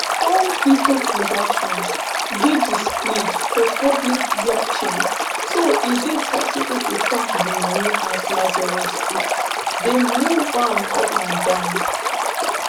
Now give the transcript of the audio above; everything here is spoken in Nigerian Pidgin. all crypto transactions dey displayed for public blockchain so e dey possible to track di money as lazarus group dey move am up and down